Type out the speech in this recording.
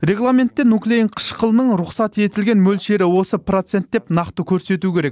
регламентте нуклеин қышқылының рұқсат етілген мөлшері осы процент деп нақты көрсету керек